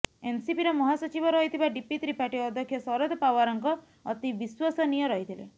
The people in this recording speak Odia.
ଏନ୍ସିପିର ମହାସଚିବ ରହିଥିବା ଡିପି ତ୍ରିପାଠୀ ଅଧ୍ୟକ୍ଷ ଶରଦ ପାଓ୍ବାରଙ୍କ ଅତି ବିଶ୍ବସନୀୟ ରହିଥିଲେ